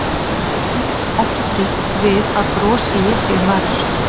Ef til vill ekki frítt við að bros léki um varir.